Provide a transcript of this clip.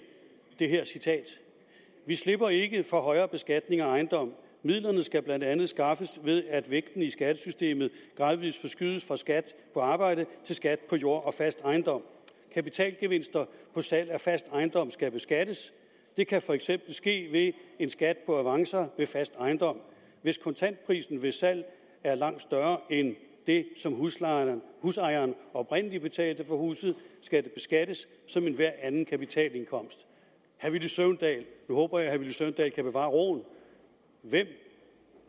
det her citat vi slipper ikke for højere beskatning af ejendom midlerne skal blandt andet skaffes ved at vægtningen i skattesystemet gradvis forskydes fra skat på arbejde til skat på jord og fast ejendom kapitalgevinster på salg af fast ejendom skal beskattes det kan for eksempel ske ved en skat på avancer ved fast ejendom hvis kontantprisen ved salg er langt større end det som husejeren husejeren oprindelig betalte for huset skal det beskattes som enhver anden kapitalindkomst nu håber jeg at herre villy søvndal kan bevare roen hvem